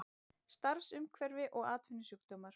Starfsumhverfi og atvinnusjúkdómar.